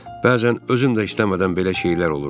Bəzən özüm də istəmədən belə şeylər olur.